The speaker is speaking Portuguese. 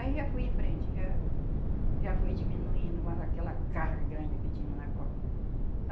Aí já fui em frente, já já fui diminuindo mais aquela carga grande que tinha na costa.